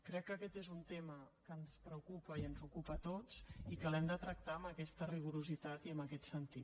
crec que aquest és un tema que ens preocupa i ens ocupa a tots i que l’hem de tractar amb aquest rigor i amb aquest sentit